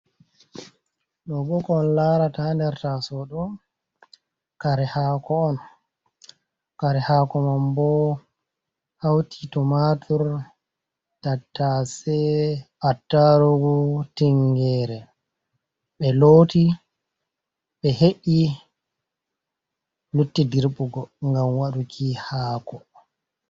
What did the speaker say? Ɗo'o boo ko on larata haand er taasowo ɗo, kare haako on. Kare haako man boo hawti tumaatur, tattase, attarugu, tinngeere. Ɓe looti ɓe heƴƴi lutti dirɓugo ngam waɗuki haako.